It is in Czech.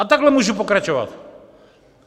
A takhle můžu pokračovat.